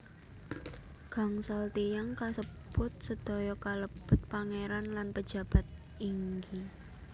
Gangsal tiyang kasebut sedaya kalebet pangeran lan pejabat inggi